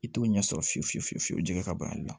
I t'o ɲɛsolo fiyewu fiye fiye fiyew jɛgɛ ka ban a la